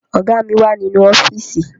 Ọ̀gá mi wà nínú ọ́fíìsì